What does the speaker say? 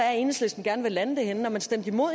er enhedslisten gerne vil lande det henne for man stemte imod